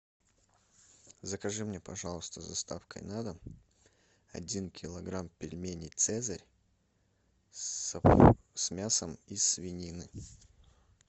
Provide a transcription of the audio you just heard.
закажи мне пожалуйста с доставкой на дом один килограмм пельменей цезарь с мясом из свинины